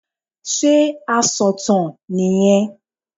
Sé asọ̀tàn nì yẹn